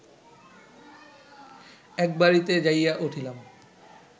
এক বাড়িতে যাইয়া উঠিলাম